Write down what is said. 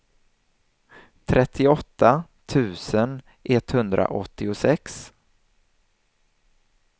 trettioåtta tusen etthundraåttiosex